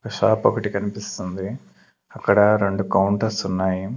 Shop ఒకటి కనిపిస్తుంది అక్కడ రెండు కౌంటర్స్ ఉన్నాయి.